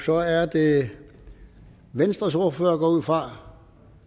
så er det venstres ordfører går jeg ud fra